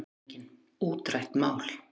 LANDSHÖFÐINGI: Útrætt mál!